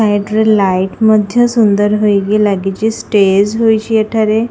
ସାଇଡରେ ଲାଇଟ ମଧ୍ଯ ସୁନ୍ଦର ହୋଇକି ଲାଗିଛ ଷ୍ଟେଜ ହୋଇଛି ଏଠାରେ।